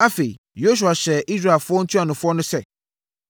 Afei, Yosua hyɛɛ Israel ntuanofoɔ no sɛ,